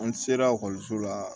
An se la la